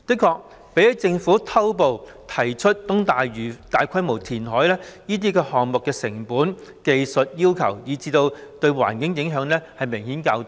確實，相較政府偷步提出在東大嶼大規模填海的計劃，這些選項的成本、技術要求及對環境的影響也明顯較低。